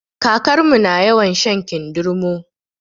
Kakarmu na yawan shan kindirmo